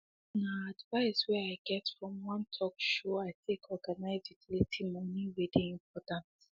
nah advice way i get from one talk show i take organize utility money way dey important